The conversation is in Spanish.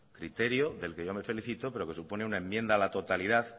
criterio del que yo me felicito pero que supone una enmienda a la totalidad